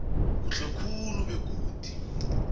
kuhle khulu begodu